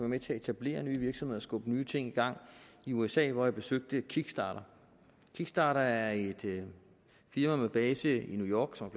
med til at etablere nye virksomheder skubbe nye ting i gang i usa hvor jeg besøgte kickstarter kickstarter er et firma med base i new york som